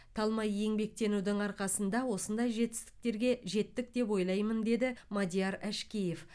талмай еңбектенудің арқасында осындай жетістіктерге жеттік деп ойлаймын деді мадияр әшкеев